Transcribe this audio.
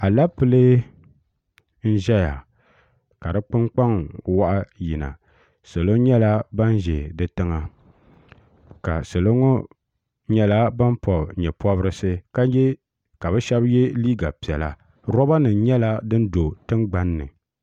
alɛpilɛ n ʒɛya ka di kpunkpaŋ waɣa yina salo nyɛla ban ʒɛ di tiŋa ka salo ŋo nyɛla ban pobi nyɛ pobirisi ka bi shab yɛ liiga piɛla roba nim nyɛla din do tingbanni